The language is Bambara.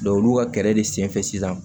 olu ka kɛlɛ de senfɛ sisan